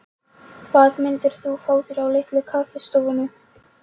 Hvað myndir þú fá þér á Litlu kaffistofunni?